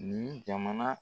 Nun jamana